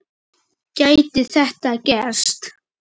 Gæti þetta gerst?